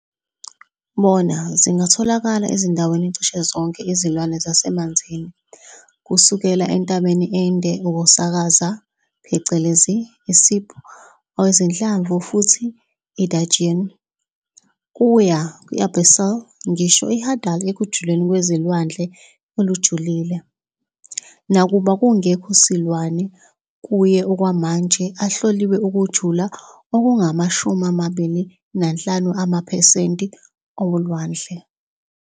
Bona zingatholakala ezindaweni cishe zonke izilwane zasemanzini, kusukela entabeni ende ukusakaza, phecelezi isib, wezinhlamvu futhi gudgeon, kuya abyssal ngisho hadal ekujuleni kwezilwandle ejulile, nakuba kungekho silwane kuye okwamanje atloliwe ukujula okungama-25 amaphesenti kolwandle.